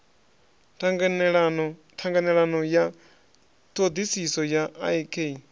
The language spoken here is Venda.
ṱhanganelano ya ṱhoḓisiso ya ik